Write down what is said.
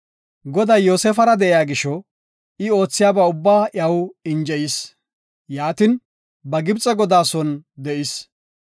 Goday Yoosefara de7iya gisho, I oothiyaba ubbaa iyaw injeyis. Yaatin, ba Gibxe godaa son de7is.